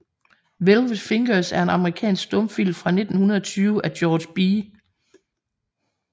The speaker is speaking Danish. Velvet Fingers er en amerikansk stumfilm fra 1920 af George B